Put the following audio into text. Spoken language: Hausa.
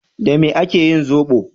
Da me ake yin zoɓo?